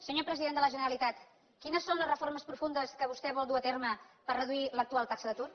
senyor president de la generalitat quines són les reformes profundes que vostè vol dur a terme per reduir l’actual taxa d’atur